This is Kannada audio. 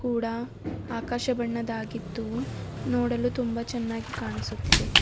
ಕೂಡ ಆಕಾಶ ಬಣ್ಣದಾಗಿದ್ದು ನೋಡಲು ತುಂಬಾ ಚೆನ್ನಾಗಿ ಕಾಣಿಸುತ್ತಿದೆ.